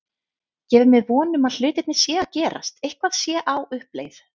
Gefur mér von um að hlutirnir séu að gerast, eitthvað sé á uppleið.